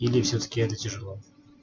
или все таки это тяжело